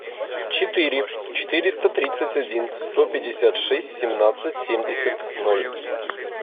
четыре четыреста тридцать один сто пятьдесят шесть семнадцать семьдесят ноль